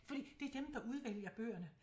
Fordi det er dem der udvælger bøgerne